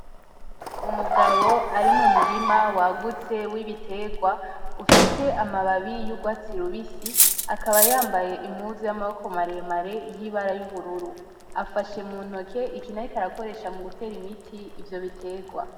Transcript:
Umugabo ari mu murima wagutse w'ibiterwa ufise amababi y'urwatsi rubisi, akaba yambaye impuzu yamaboko mare mare yibara y'ubururu. Afashe muntoke ikintu ariko arakoresha mu gutera imiti ivyo biterwa.